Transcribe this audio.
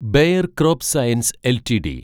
bear crop science LTD